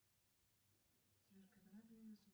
на каком языке